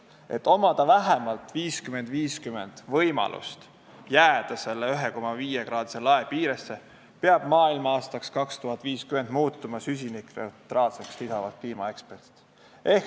"Et omada vähemalt 50 : 50 võimalust 1,5 kraadi lae piiresse jääda, peab maailm 2050. aastaks muutuma "süsinikneutraalseks"," lisasid kliimaeksperdid.